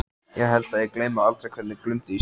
Ég held að ég gleymi aldrei hvernig glumdi í stéttinni.